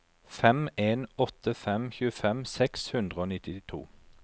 fem en åtte fem tjuefem seks hundre og nittito